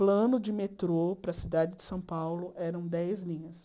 Plano de metrô para a cidade de São Paulo eram dez linhas.